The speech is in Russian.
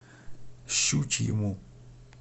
щучьему